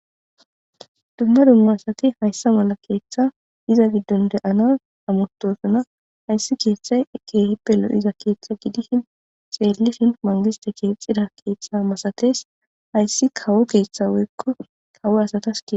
dumma dumma asati hayssa mala keeththa iza giddon de7ana amotosuna hayssi keeththay keehippe lo7iza keeththa gidishin xeellishin mangiste keexxida keeththa masates hayssi kawo keeththa woykko kawo asatas gie